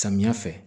Samiya fɛ